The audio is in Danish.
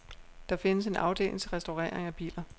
Der findes en afdeling til restaurering af biler.